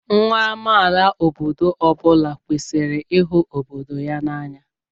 Nwa amaala obodo ọ bụla kwesịrị ịhụ obodo ya n'anya.